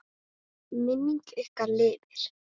Minning ykkar lifir.